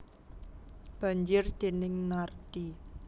Banjir déning Nardi